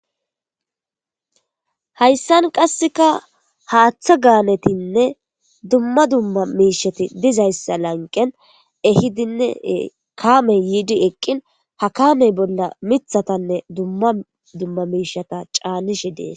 Hayisan qaseka haththa galetine dumma dumma miishshati dizayisa lanqen ehidine kame yidi eqin ha kame bola mitatane dumma dumma miishshata canishe de'as.